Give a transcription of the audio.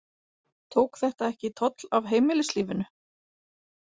Tók þetta ekki toll af heimilislífinu?